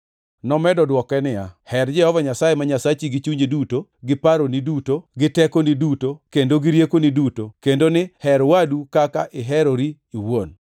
Nomedo dwoke niya, “ ‘Her Jehova Nyasaye ma Nyasachi gi chunyi duto gi paroni duto, gi tekoni duto kendo gi riekoni duto;’ + 10:27 \+xt Rap 6:5\+xt* kendo ni, ‘Her wadu kaka iherori iwuon.’ + 10:27 \+xt Lawi 19:18\+xt*”